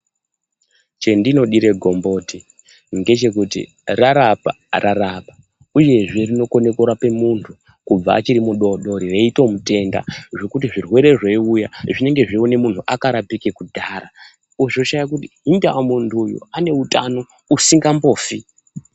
Chendinodire gomboti ngechekuti rarapa rarapa uyezve rinokona kurape muntu kubva achiri mudodori veitomutenda zvekuti zvirwere zveiuya zvinenge zveitoona munhu akarapika kudhara ozoshaya kuti hinda muntu uyu ane utano usingambofi.